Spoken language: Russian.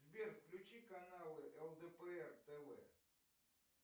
сбер включи каналы лдпр тв